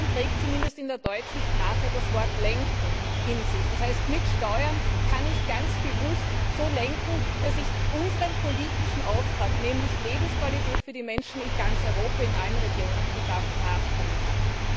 Steuern trägt zumindest in der deutschen Sprache das Wort lenken in sich. Das heißt, mit Steuern kann ich ganz bewusst so lenken, dass ich unseren politischen Auftrag, nämlich Lebensqualität für die Menschen in ganz Europa, in allen Regionen, zu schaffen, nachkommen kann.